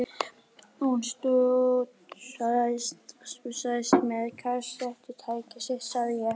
Hún stússaðist með kassettutækið sitt sagði ég.